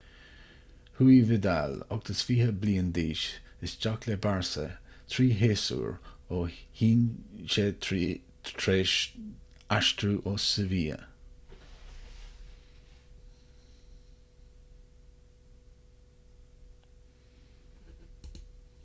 chuaigh vidal 28 bliain d'aois isteach le barça trí shéasúr ó shin tar éis dó aistriú ó sevilla